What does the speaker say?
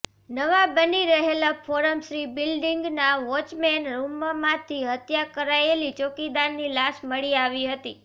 નવા બની રહેલા ફોરમ શ્રી બ્લિડિંગના વોચમેન રુમમાંથી હત્યા કરાયેલી ચોકીદારની લાશ મળી આવી હતી